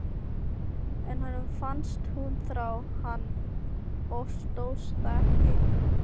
En honum fannst hún þrá hann og stóðst það ekki.